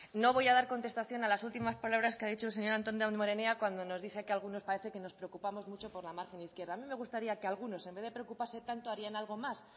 no voy a dar contestación a las últimas palabras que ha dicho el señor antón damborenea cuando nos dice que algunos parece que nos preocupamos mucho por la margen izquierda a mí me gustaría que algunos en vez de preocuparse tanto harían algo más